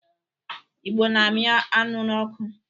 Igbo na-amị anụ n'ọkụ.